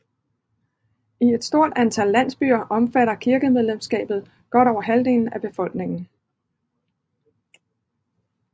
I et stort antal landsbyer omfatter kirkemedlemsskabet godt over halvdelen af befolkningen